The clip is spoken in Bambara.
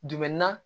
Jumɛn na